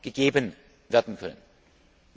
Gasmarkt gegeben werden